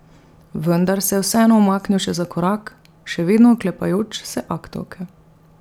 Vendar se je vseeno umaknil še za korak, še vedno oklepajoč se aktovke.